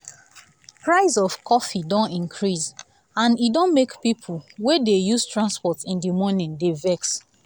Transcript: price of coffee don increase and e don make people wey dey dey use transport in the morning dey vex